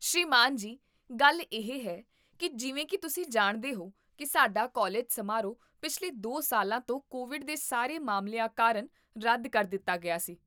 ਸ੍ਰੀਮਾਨ ਜੀ, ਗੱਲ ਇਹ ਹੈ ਕਿ ਜਿਵੇਂ ਕੀ ਤੁਸੀਂ ਜਾਣਦੇ ਹੋ ਕੀ ਸਾਡਾ ਕਾਲਜ ਸਮਾਰੋਹ ਪਿਛਲੇ ਦੋ ਸਾਲਾਂ ਤੋਂ ਕੋਵਿਡ ਦੇ ਸਾਰੇ ਮਾਮਲਿਆਂ ਕਾਰਨ ਰੱਦ ਕਰ ਦਿੱਤਾ ਗਿਆ ਸੀ